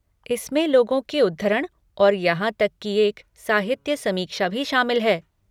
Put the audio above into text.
इसमें लोगों के उद्धरण और यहाँ तक कि एक साहित्य समीक्षा भी शामिल है।